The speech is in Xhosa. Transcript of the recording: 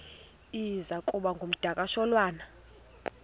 iza kuba ngumdakasholwana